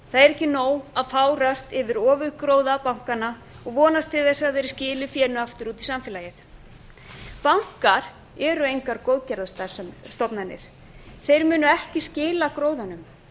ekki nóg að fárast yfir ofurgróða bankanna og vonast til að verði skilað aftur út í samfélagið bankar eru engar góðgerðarstofnanir þeir munu ekki skila gróðanum